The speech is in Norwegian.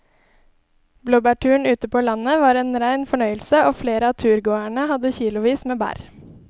Blåbærturen ute på landet var en rein fornøyelse og flere av turgåerene hadde kilosvis med bær.